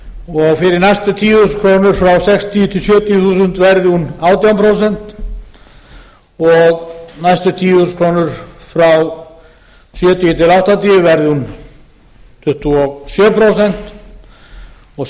og fyrir næstu tíu þúsund krónur frá sextíu sjötíu þúsund vera hún átján prósent og næstu tíu þúsund krónur frá sjötíu áttatíu verði hún tuttugu og sjö prósent og